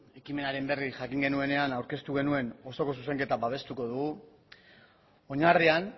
ekimenaren berri jakin genuenean aurkeztu genuen osoko zuzenketa babestuko dugu oinarrian